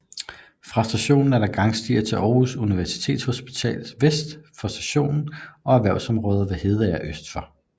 Fra stationen er der gangstier til Aarhus Universitetshospital vest for stationen og erhvervsområdet ved Hedeager øst for